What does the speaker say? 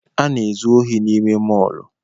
A na-ezu ohi n’ime mọlụ